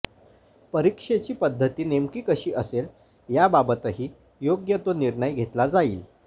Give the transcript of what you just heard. परीक्षेची पद्धती नेमकी कशी असेल याबाबतही योग्य तो निर्णय घेतला जाईल